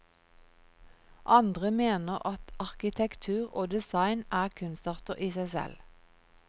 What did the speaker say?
Andre mener at arkitektur og design er kunstarter i seg selv.